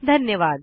धन्यवाद